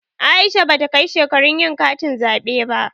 Aisha bata kai shekarun yin katin zaɓe ba.